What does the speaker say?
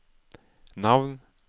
navn